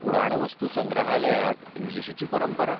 पुराणवस्तुसंग्रहालयाक इंग्लिशीची परंपरा '?